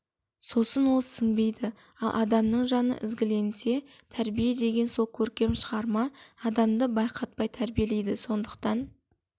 сосын ол сіңбейді ал адамның жаны ізгіленсе тәрбие деген сол көркем шығарма адамды байқатпай тәрбиелейді сондықтан